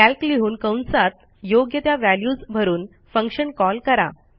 calc लिहून कंसात योग्य त्या व्हॅल्यूज भरून फंक्शन कॉल करा